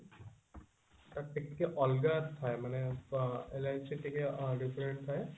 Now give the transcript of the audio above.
ତାର ଟିକେ ଅଲଗା ଥାଏ ମାନେ ଅ LIC ଟିକେ different ଥାଏ